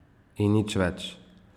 In nič več.